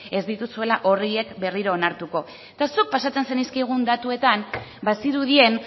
ez dituzuela horiek berriro onartuko eta zuk pasatzen zenizkigun datuetan bazirudien